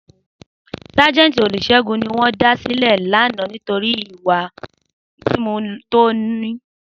Sajenti Olusegun ni won da sile lana nitori iwa mimu to n mu